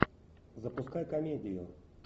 запускай комедию